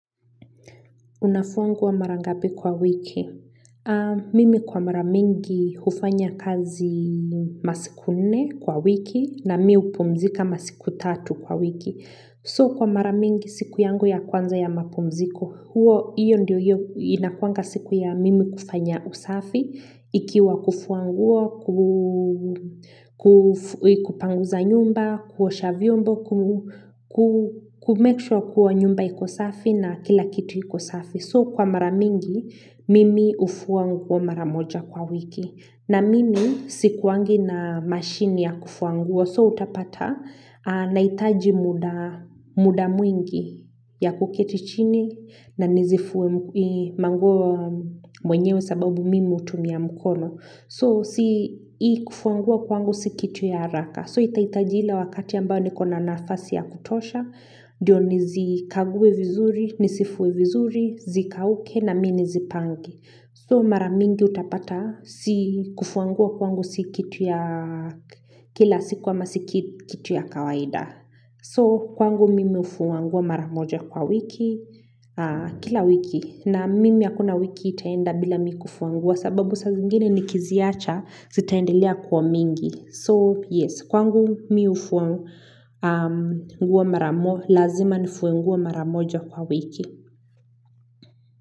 Unafua nguo mara ngapi kwa wiki?. Mimi kwa mara mingi hufanya kazi masiku nne kwa wiki na mi hupumzika masiku tatu kwa wiki. So kwa mara mingi siku yangu ya kwanza ya mapumziko, huo hiyo ndiyo inakuanga siku ya mimi kufanya usafi, ikiwa kufua nguo, ku kupanguza nyumba, kuosha vyombo, ku make sure kuwa nyumba iko safi na kila kitu iko safi. So kwa mara mingi mimi hufua nguo mara moja kwa wiki na mimi sikuwangi na mashini ya kufua nguo so utapata na hitaji mda mda mwingi ya kuketi chini na nizifue manguo mwenyewe sababu mimi utumia mkono. So si hii kufua nguo kwangu si kitu ya haraka. So itahita ila wakati ambao nikona nafasi ya kutosha. Ndio nizi kague vizuri, nisifue vizuri, zikauke na mi nizipange So mara mingi utapata si kufua nguo kwangu si kitu ya kila siku ama si kit kitu ya kawaida. So kwangu mimi hufua nguo maramoja kwa wiki kila wiki na mimi hakuna wiki itaenda bila mi kufua nguo sababu saa zingine nikiziacha zitaendelea kuwa mingi. So yes kwangu mimi hufua nguo mara mo lazima nifue nguo mara moja kwa wiki.